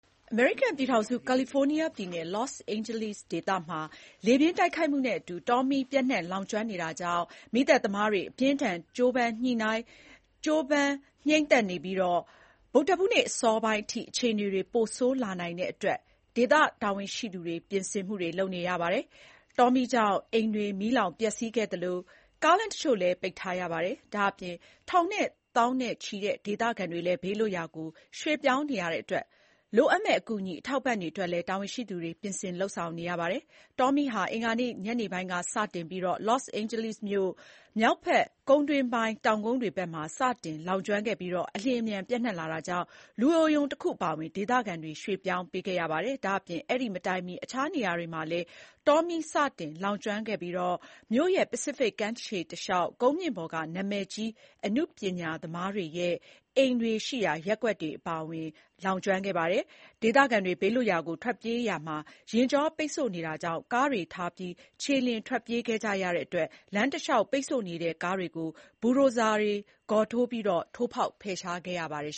အမေရိကန်ပြည်ထောင်စု ကာလီဖိုးနီးယားပြည်နယ် လော့စ်အိန်ဂျလိစ်ဒေသမှာလေပြင်းတိုက်ခတ်မှုနဲ့ အတူ တောမီးပျံ့နှံ့လောင်ကျွမ်းနေတာကြောင့် မီးသတ်သမားတွေက မီးငြိမ်းသတ်နိုင်ဖို့ အပြင်းအထန် ကြိုးပမ်းနေကြရပြီး ဗုဒ္ဓဟူးနေ့အစောပိုင်းအထိ အခြေအနေတွေပိုဆိုးလာနိုင်တဲ့အတွက် ဒေသ တာဝန်ရှိသူတွေက လိုအပ်တာတွေ ကြိုတင်ပြင်ဆင်နေကြပါတယ်။ တောမီးကြောင့် အိမ်တွေမီးလောင်ပျက်စီးခဲ့သလို ကားလမ်းတချို့လည်း ပိတ်ထားရပါတယ်။ ဒါ့အပြင် ထောင်နဲ့ သောင်နဲ့ချီတဲ့ဒေသခံတွေလည်းဘေးလွတ်ရာကို ရွှေ့ပြောင်းနေရတဲ့အတွက် လိုအပ်မယ့် အကူအညီအထောက်အပံ့တွေအတွက်လည်း တာဝန်ရှိသူတွေက ပြင်ဆင်နေရပါတယ်။ အင်္ဂါနေ့ ညနေပိုင်းကစတင်ခဲ့တဲ့တောမီးဟာ လော့စ်အိန်ဂျလိစ်မြို့မြောက်ဘက် ကုန်းတွင်းပိုင်းကျတဲ့ တောင်ကုန်းတွေဘက်မှာ စတင်လောင်ကျွမ်းခဲ့ပြီး အလျင်အမြန် ပျံ့နှံ့လာတာကြောင့် လူအိုရုံတခု အပါအဝင် ဒေသခံတွေကိုရွှေ့ ပြောင်းပေးခဲ့ ရပါတယ်။ ဒါ့အပြင် အဲဒီမတိုင်မီ အခြားနေရာမှာလည်း တောမီးစတင်လောင်ကျွမ်းခဲ့ပြီး မြို့ရဲ့ ပစိဖိတ်ကမ်းခြေ တလျှောက် ကုန်းမြင့်ပေါ်က နာမည်ကြီးအနုပညာသမားတွေရဲ့အိမ်တွေရှိရာ ရပ်ကွက်တွေအပါအဝင် Pacific Palisades ရပ်ကွက်တွေကို ပါလောင်ကျွမ်းခဲ့ပါတယ်။ ဒေသခံတွေဘေးလွတ်ရာကိုထွက်ပြေးကြရာမှာလည်း ယာဉ်ကြောပိတ်ဆို့နေတာကြောင့် ကားတွေ ထားပြီး ခြေလျင်ထွက်ပြေးကြတဲ့အတွက် လမ်းတလျှောက်ပိတ်ဆို့နေတဲ့ကားတွေကို ဘူဒိုဇာ ဂေါ်ထိုး ကားတွေနဲ့ ထိုးပြီးဖယ်ရှားခဲ့ရပါတယ်